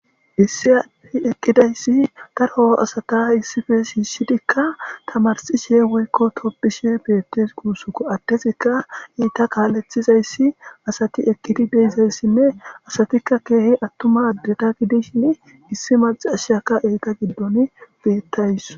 Issi addey eqqidayssidaro asata issippe shiishi dikka tamarssishe woykko tobbisshe beettees guussuko.addezikka eta kaalethizayssi asati eqididizayssinne asati keehi daroy attuma gidishin issi maccassiyakka enta giddon beettawus.